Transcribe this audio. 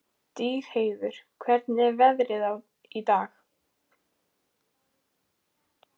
Stígheiður, hvernig er veðrið í dag?